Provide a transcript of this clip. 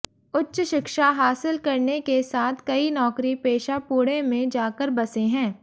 उच्च शिक्षा हासिल करने के साथ कई नौकरी पेशा पुणे में जाकर बसें है